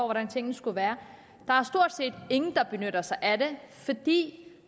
hvordan tingene skal være der er stort set ingen der benytter sig af det